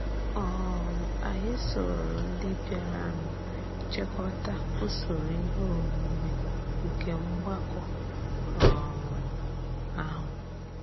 um Ányị sòòrò ndị bịàrànụ chịkọtà usoro ihe omume nke mgbàkọ um ahụ.